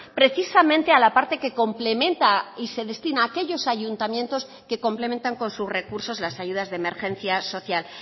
precisamente a la parte que complementa y se destina a aquellos ayuntamientos que complementan con sus recursos las ayudas de emergencia social